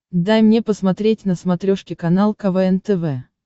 дай мне посмотреть на смотрешке канал квн тв